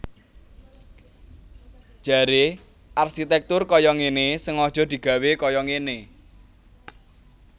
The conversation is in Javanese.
Jaré arsitèktur kaya ngéné sengaja digawé kaya ngéné